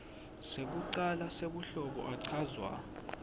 sekucala sebuhlobo achazwa